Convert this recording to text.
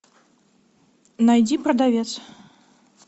найди продавец